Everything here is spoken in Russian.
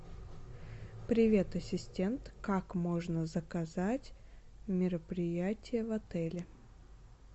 привет ассистент как можно заказать мероприятие в отеле